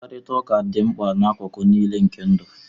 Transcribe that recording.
Mkparịta ụka dị mkpa n'akụkụ niile nke ndụ